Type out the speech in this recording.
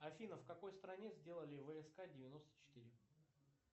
афина в какой стране сделали вск девяносто четыре